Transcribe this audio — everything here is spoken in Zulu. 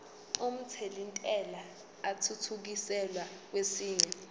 omthelintela athuthukiselwa kwesinye